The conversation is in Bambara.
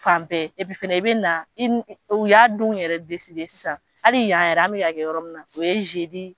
Fan bɛɛ fɛnɛ i bɛ na in o y'a donw yɛrɛ sisan hali y'an yɛrɛ an bɛ ka kɛ yɔrɔ min na o ye